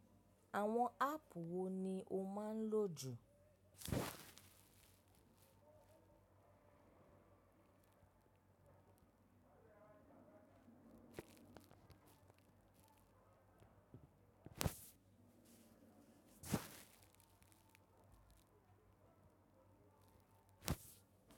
Àwọn áàpù wo ni ó máa ń lò jù?